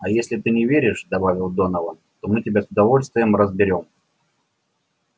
а если ты не веришь добавил донован то мы тебя с удовольствием разберём